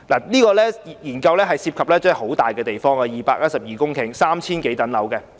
這項研究涉及的面積很大，達212公頃，涵蓋 3,000 多幢樓宇。